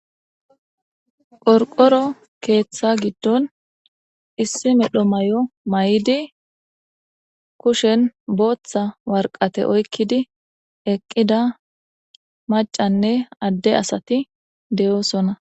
Qorqoro keeththa giddon issi medho may'o may'idi kushen booththa warqate oykkidi eqqida macanne adde asati deyoosona.